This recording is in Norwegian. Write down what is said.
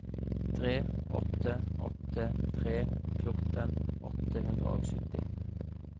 tre åtte åtte tre fjorten åtte hundre og sytti